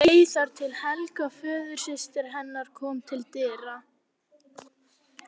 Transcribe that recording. Hún beið þar til Helga, föðursystir hennar, kom til dyra.